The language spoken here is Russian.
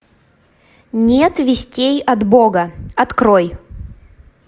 нет вестей от бога открой